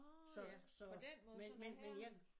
Så så men men men jeg